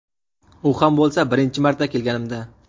U ham bo‘lsa birinchi marta kelganimda.